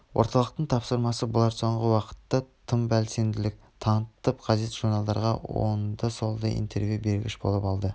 орталықтың тапсырмасы болар соңғы уақытта тым белсенділік танытып газет-журналдарға оңды-солды интервью бергш болып алды